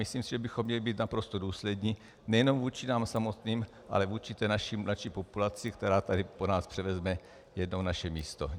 Myslím si, že bychom měli být naprosto důslední nejenom vůči nám samotným, ale vůči té mladší populaci, která tady po nás převezme jednou naše místo.